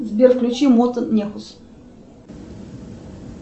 сбер включи мото нехус